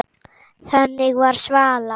Þannig var Svala.